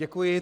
Děkuji.